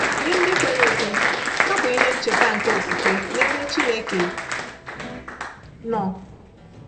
Nye ndị kwere ekwe, ha bụ ihe ncheta nke okwukwe n’ebe Chineke nọ.